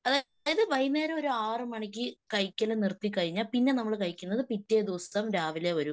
അതായത് വൈന്നേരം ഒരു ആറുമണിക്ക് കഴിക്കല് നിർത്തിക്കഴിഞ്ഞാൽ പിന്നെ നമ്മള് കഴിക്കുന്നത് പിറ്റേദിവസം രാവിലെ ഒരു